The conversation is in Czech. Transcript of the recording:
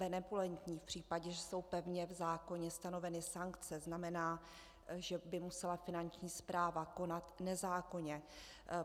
Benevolentní v případě, že jsou pevně v zákoně stanoveny sankce, znamená, že by musela Finanční správa konat nezákonně.